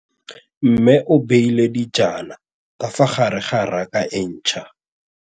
Mmê o beile dijana ka fa gare ga raka e ntšha.